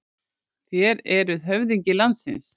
Þér eruð höfðingi landsins.